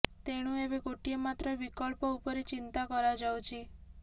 ତେଣୁ ଏବେ ଗୋଟିଏ ମାତ୍ର ବିକଳ୍ପ ଉପରେ ଚିନ୍ତା କରାଯାଉଛି